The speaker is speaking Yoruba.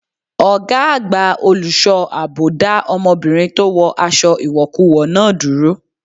Ọgá àgbà olùṣọ́ àbò dá ọmọbìnrin tó wọ aṣọ ìwọ̀kuwọ̀ náà dúró.